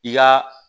I ka